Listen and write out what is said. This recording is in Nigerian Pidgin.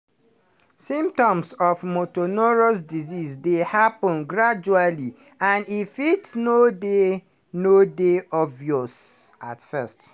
symptoms of motor neurone disease dey happun gradually and e fit no dey no dey obvious at first.